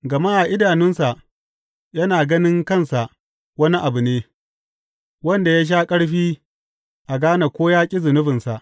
Gama a idanunsa yana ganin kansa wani abu ne wanda ya sha ƙarfi a gane ko ya ƙi zunubinsa.